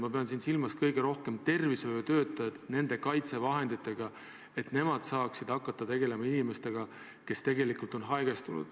Ma pean kõige rohkem silmas tervishoiutöötajaid, kes pidid hakkama tegelema haigestunud inimestega.